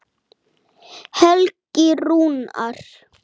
Vakti það viðtal einnig uppnám.